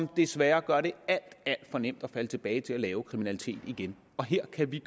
desværre gør det alt alt for nemt at falde tilbage til at lave kriminalitet igen og her kan vi